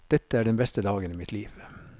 Dette er den beste dagen i mitt liv.